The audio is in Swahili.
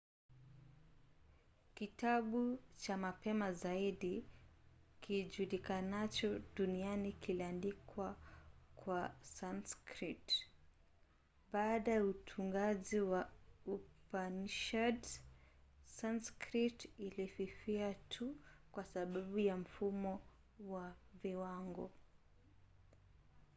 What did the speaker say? kitabu cha mapema zaidi kijulikanacho duniani kiliandikwa kwa sanskrit. baada ya utungaji wa upanishads sanskrit ilififia tu kwa sababu ya mfumo wa viwango